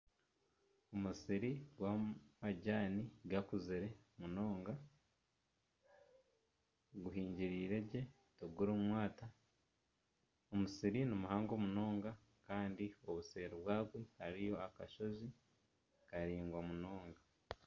Omusiri gw'amajani gakuzire munonga guhingiriire gye tigurimu mwata omusiri nimuhango munonga kandi obuseeri bwabo hariyo akashozi karaingwa munonga.